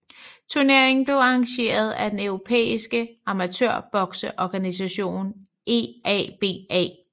Turneringen blev arrangeret af den europæiske amatørbokseorganisation EABA